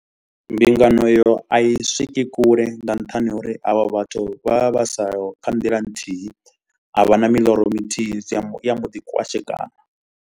Mbingano iyo a i swiki kule nga nṱhani ha uri avho vhathu vha vha vha siho kha nḓila nthihi, a vha na miloro mithihi dzi ya mba i a mbo ḓi kwashekana.